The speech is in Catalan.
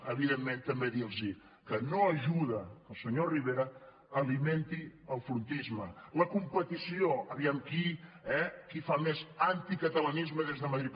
evidentment també dir los que no ajuda que el senyor rivera alimenti el frontisme la competició aviam qui fa més anticatalanisme des de madrid